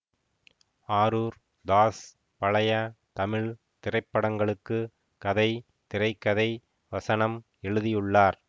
ஆரூர் தாஸ் பழைய தமிழ் திரைப்படங்களுக்கு கதை திரை கதை வசனம் எழுதியுள்ளார்